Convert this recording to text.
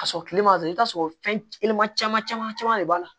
Ka sɔrɔ kile ma don i t'a sɔrɔ fɛn telima caman caman de b'a la